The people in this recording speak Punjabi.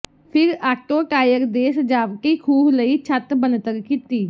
ਫਿਰ ਆਟੋ ਟਾਇਰ ਦੇ ਸਜਾਵਟੀ ਖੂਹ ਲਈ ਛੱਤ ਬਣਤਰ ਕੀਤੀ